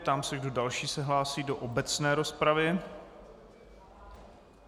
Ptám se, kdo další se hlásí do obecné rozpravy.